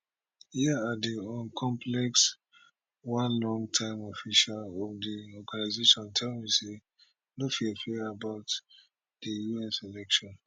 here at di un complex one longtime official of di organisation tell me say no fear fear about di us election